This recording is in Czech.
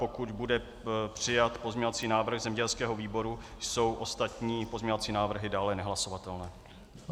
Pokud bude přijat pozměňovací návrh zemědělského výboru, jsou ostatní pozměňovací návrhy dále nehlasovatelné.